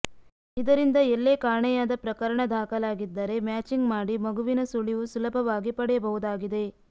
ಇದರಿಂದ ಎಲ್ಲೇ ಕಾಣೆಯಾದ ಪ್ರಕರಣ ದಾಖಲಾಗಿದ್ದರೆ ಮ್ಯಾಚಿಂಗ್ ಮಾಡಿ ಮಗುವಿನ ಸುಳಿವು ಸುಲಭವಾಗಿ ಪಡೆಯಬಹುದಾಗಿದೆ